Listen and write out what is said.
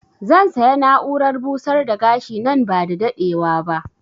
Zan saya na'urar busar da gashi nan ba da daɗewa ba